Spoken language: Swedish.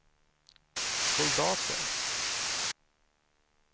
soldater